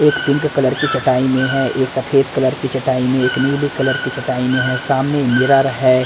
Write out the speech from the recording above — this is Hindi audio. एक पिंक कलर की चटाई में है एक सफेद कलर की चटाई में एक नीली कलर की चटाई में है सामने मिरर है।